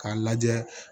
K'a lajɛ